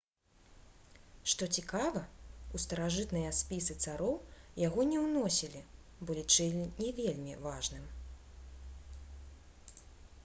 што цікава у старажытныя спісы цароў яго не ўносілі бо лічылі не вельмі важным